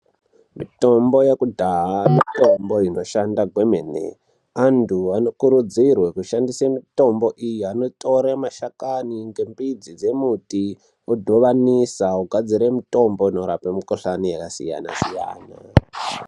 Mitombo yekudhaha mitombo inoshanda kwemene antu anokurudzirwe kushandise mitombo iye anotore mashakani ngembidzi dzemiti vodhovanise vogadzire mutombo inorape mukuhlani yakasiyana siyana